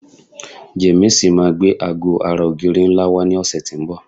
Jamiisi máa gbé aago ara ogiri nla wa ni òsè ti n bò